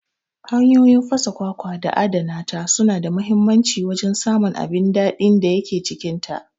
Hanyoyin fasa kwakwa da adana ta suna da muhimmancin wajen samun abin daɗin da yake cikinta.